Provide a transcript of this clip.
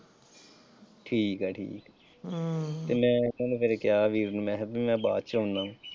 ਠੀਕ ਹੈ ਜੀ ਹਮ ਤੇ ਮੈਂ ਉਹਨਾਂ ਨੂੰ ਫਿਰ ਕਿਹਾ ਵੀ ਮੈਂ ਕਿਹਾ ਵੀ ਮੈਂ ਬਾਅਦ ਵਿੱਚ ਆਉਣਾ।